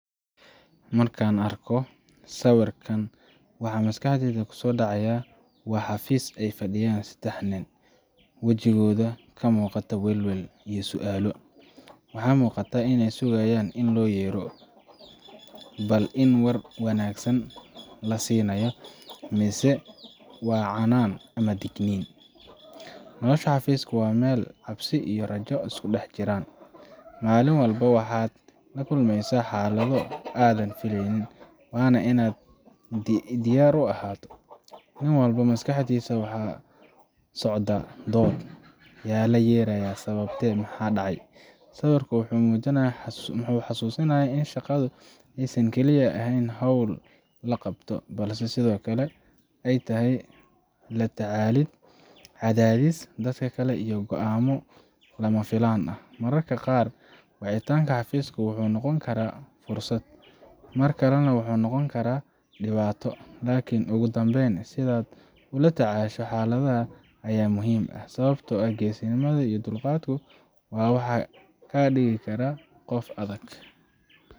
Markaan arko sawirkan, waxa maskaxdayda kusoo dhacaya waa xafiis ay fadhiyaan saddex nin, wajigooda ka muuqata welwel iyo su'aalo. Waxaa muuqata inay sugayaan in loo yeero bal in war wanaagsan la siinayo, mise waa canaan ama digniin Nolosha xafiisku waa meel uu cabsi iyo rajo isku dhex jiraan. Maalin walba waxaad la kulmaysaa xaalado aanad filayn, waana inaad diyaar u ahaato. Nin walba maskaxdiisa waxaa ka socda dood, yaa la yeerayaa, sababtee, maxaa dhacay? Sawirku wuxuu na xusuusinayaa in shaqadu aysan kaliya ahayn hawl la qabto, balse sidoo kale ay tahay la tacaalid cadaadis, dadka kale iyo go’aamo lama filaan ah. Mararka qaar wicitaanka xafiiska wuxuu noqon karaa fursad, mar kalena wuxuu noqon karaa dhibaato. Laakiin ugu dambeyn, sidaad ula tacaasho xaaladda ayaa muhim ah, sababtoo ah geesinimada iyo dulqaadku waa waxa kaa dhiga qof adag.